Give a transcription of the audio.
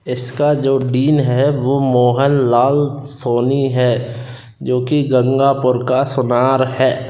इसका जो डीन है वो मोहनलाल सोनी है जो कि गंगापुर का सोनार है।